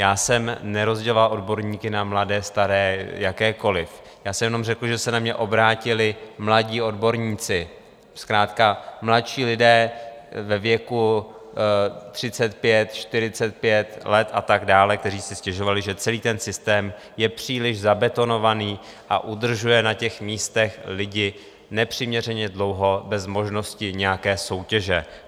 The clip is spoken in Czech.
Já jsem nerozděloval odborníky na mladé, staré, jakékoli, já jsem jenom řekl, že se na mě obrátili mladí odborníci, zkrátka mladší lidé ve věku 35, 45 let a tak dále, kteří si stěžovali, že celý ten systém je příliš zabetonovaný a udržuje na těch místech lidi nepřiměřeně dlouho bez možnosti nějaké soutěže.